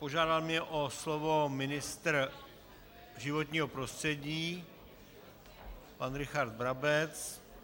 Požádal mě o slovo ministr životního prostředí pan Richard Brabec.